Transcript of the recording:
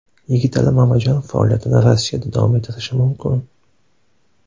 Yigitali Mamajonov faoliyatini Rossiyada davom ettirishi mumkin.